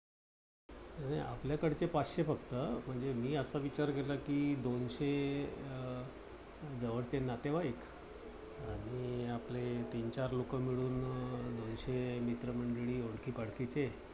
नाही नाही, आपल्याकडचे पाचशे फक्त. म्हणजे मी असा विचार केला, कि दोनशे अह जवळचे नातेवाईक आणि आपले तीन चार लोकं मिळून अं दोनशे मित्र मंडळी ओळखीपालखीचे